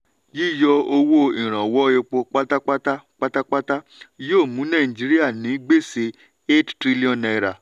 yíyọ owó ìrànwọ́ epo pátápátá pátápátá yóò mú nàìjíríà ní gbèsè n8 trillion.